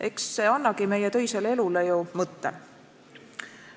Eks see annagi meie töisele elule ju mõtte.